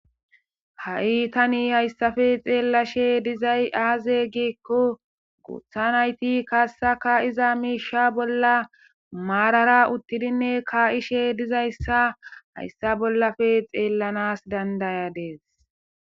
ha7i tani hayssafe xeellashe dizay aaze giekko gothanayti kaassaka iza miisha bolla maarara uttidinne kaa7ishe dizayssa hayssa bollafe xeellanas dandayadees